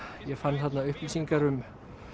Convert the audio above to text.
ég fann þarna upplýsingar um